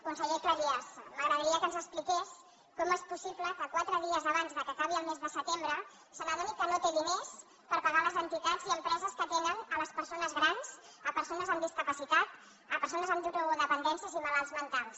conseller cleries m’agradaria que ens expliqués com és possible que quatre dies abans que acabi el mes de setembre se n’adoni que no té diners per pagar les entitats i empreses que atenen les persones grans persones amb discapacitat persones amb drogodependències i malalts mentals